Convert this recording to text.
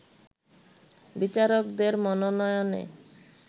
বিচারকদের মনোনয়নে